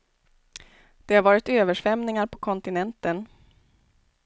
Det har varit översvämningar på kontinenten.